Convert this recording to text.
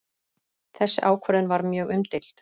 Þessi ákvörðun var mjög umdeild